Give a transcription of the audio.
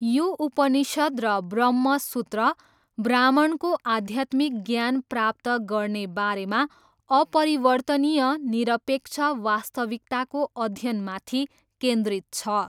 यो उपनिषद् र ब्रह्म सूत्र, ब्राह्मणको आध्यात्मिक ज्ञान प्राप्त गर्ने बारेमा, अपरिवर्तनीय, निरपेक्ष वास्तविकताको अध्ययनमाथि केन्द्रित छ।